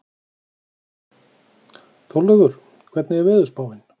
Þórlaugur, hvernig er veðurspáin?